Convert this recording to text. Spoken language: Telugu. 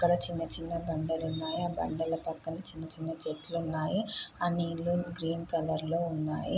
ఇక్కడ చిన్న చిన్న బండలు ఉన్నాయి . ఆ బండలు పక్కన చిన్న చిన్న చెట్లు ఉన్నాయి. ఆ చెట్లు గ్రీన్ కలర్ లో ఉన్నాయి.